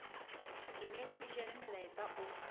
ditemeng e jere molaetsa o